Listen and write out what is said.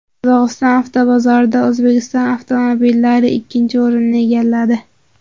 Qozog‘iston avtobozorida O‘zbekiston avtomobillari ikkinchi o‘rinni egalladi.